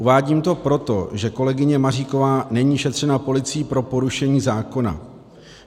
Uvádím to proto, že kolegyně Maříková není šetřena policií pro porušení zákona.